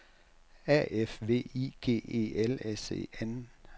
A F V I G E L S E N